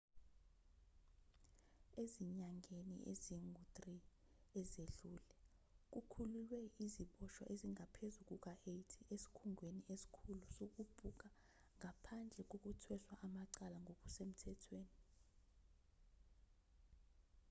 ezinyangeni ezingu-3 ezedlule kukhululwe iziboshwa ezingaphezu kuka-80 esikhungweni esikhulu sokubhuka ngaphandle kokuthweshwa amacala ngokusemthethweni